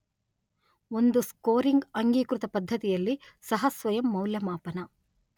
ಒಂದು ಸ್ಕೋರಿಂಗ್ ಅಂಗೀಕೃತ ಪದ್ಧತಿಯಲ್ಲಿ ಸಹ ಸ್ವಯಂ ಮೌಲ್ಯಮಾಪನ